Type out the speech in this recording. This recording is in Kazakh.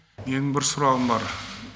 менің бір сұрағым бар